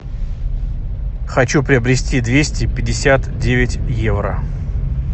хочу приобрести двести пятьдесят девять евро